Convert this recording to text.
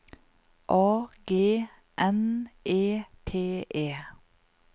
A G N E T E